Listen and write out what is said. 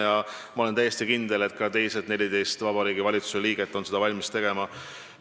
Ja ma olen täiesti kindel, et ka ülejäänud 14 Vabariigi Valitsuse liiget on valmis seda tegema.